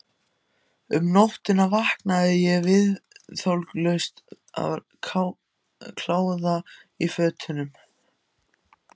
Um nóttina vaknaði ég viðþolslaus af kláða í fótunum.